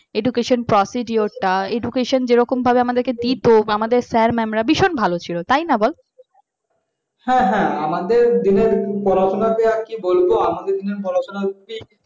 education procedure তা education যে রকম ভাবে আমাদেরকে দিত আমাদের sir mam ভীষণ ভালো ছিল তাই না বল